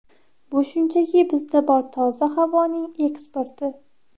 Bu shunchaki bizda bor toza havoning eksporti.